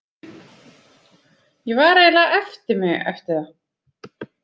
Ég var eiginlega eftir mig, eftir það.